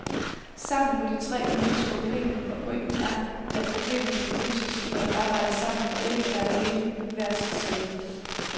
Sammen må de tre nu løse problemet, og pointen er, at problemet kan løses, når de arbejder sammen og ikke er alene hvert sit sted.